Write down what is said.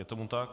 Je tomu tak.